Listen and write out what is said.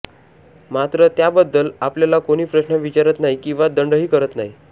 मात्र त्याबद्दल आपल्याला कोणी प्रश्न विचारत नाही किंवा दंडही करत नाही